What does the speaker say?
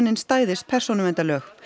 stæðist persónuverndarlög